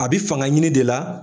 A bi fanga ɲini de la